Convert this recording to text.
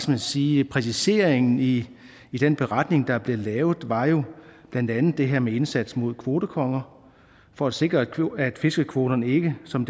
man sige præciseringen i den beretning der blev lavet var jo blandt andet det her med indsatsen mod kvotekonger for at sikre at fiskekvoterne ikke som